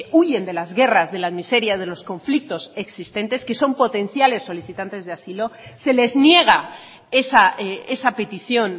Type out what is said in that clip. huyen de las guerras de la miseria de los conflictos existentes que son potenciales solicitantes de asilo se les niega esa petición